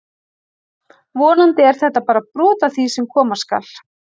Vonandi er þetta bara brot af því sem koma skal!